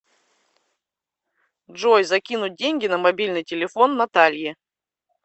джой закинуть деньги на мобильный телефон наталье